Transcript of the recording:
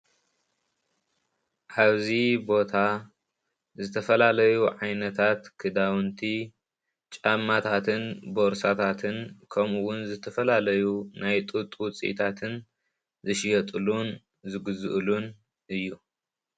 አብዚ ቦታ ዝተፈላለዩ ዓይነታት ክዳውንቲ ፣ ጫማታትን ቦርሳታትን ከምኡ እውን ዝተፈላለዩ ናይ ጡጥ ውፅኢታትን ዝሽየጥሉን ዝግዝእሉን እዩ።